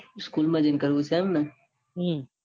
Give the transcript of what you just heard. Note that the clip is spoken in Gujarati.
school માં જઈને કરવું છે. એમને